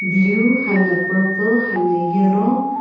iliu hami na purple hami na yellow .